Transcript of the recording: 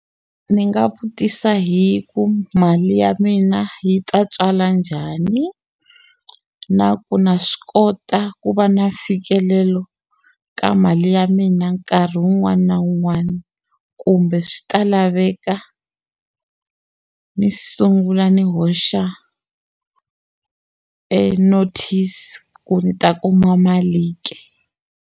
Ndzi nga vutisa hi ku mali ya mina yi ta tswala njhani na ku na swi kota ku va na mfikelelo ka mali ya mina nkarhi wun'wani na un'wana kumbe swi ta laveka ni sungula ni hoxa notice ku ni ta kuma mali ke?